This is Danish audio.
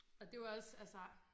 Og det var også altså